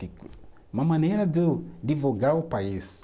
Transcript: Uma maneira de eu divulgar o país.